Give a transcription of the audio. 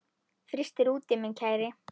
Frystir úti minn kæri.